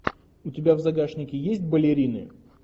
у тебя в загашнике есть балерины